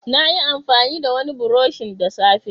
Nayi amfani da wani burushin da safe